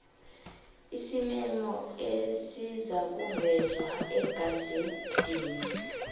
isimemo esizakuvezwa egazedini